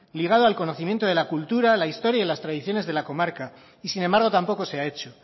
ligado al conocimiento de la cultura la historia y las tradiciones de la comarca y sin embargo tampoco se ha hecho